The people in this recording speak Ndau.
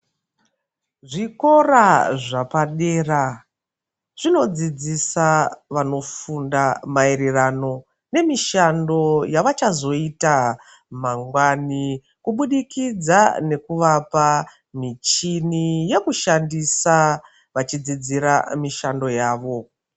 Zvikora zvapadera, zvinodzidzisa vanofunda maererano nemishando yavachazoita mangwani, kubudikidza nekuvapa muchini yekushandisa, vachidzidzira mishando yavo.